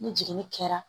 Ni jiginni kɛra